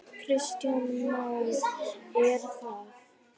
Kristján Már: Er það?